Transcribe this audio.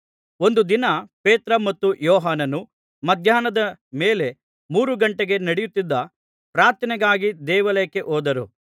ಒಂದು ದಿನ ಪೇತ್ರ ಮತ್ತು ಯೋಹಾನನು ಮಧ್ಯಾಹ್ನದ ಮೇಲೆ ಮೂರು ಘಂಟೆಗೆ ನಡೆಯತ್ತಿದ್ದ ಪ್ರಾರ್ಥನೆಗಾಗಿ ದೇವಾಲಯಕ್ಕೆ ಹೋದರು